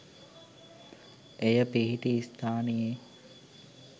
එය පිහිටි ස්ථානයේ